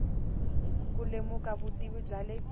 ku lemuka vutivi bya le